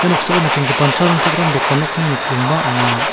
noksao nikenggipan cha ringchakram dokan nokni nokdringba ong·a.